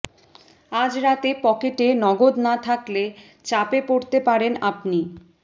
আজ রাতে পকেটে নগদ না থাকলে চাপে পড়তে পারেন আপনি